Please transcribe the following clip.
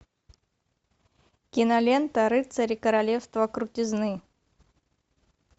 кинолента рыцари королевства крутизны